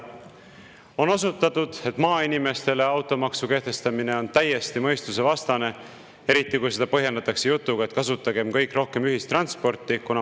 On osutatud, et maainimestele automaksu kehtestamine on täiesti mõistusevastane, eriti kui seda põhjendatakse jutuga, et kasutagem kõik rohkem ühistransporti.